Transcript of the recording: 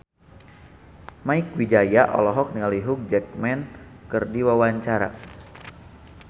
Mieke Wijaya olohok ningali Hugh Jackman keur diwawancara